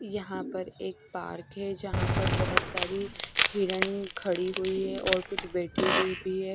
यहां पर एक पार्क है जहां पर बहोत सारी हिरण खड़ी हुई है और कुछ बैठी हुई भी है।